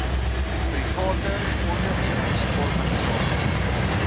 private ondernemings organisasies